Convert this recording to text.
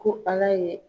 Ko ala ye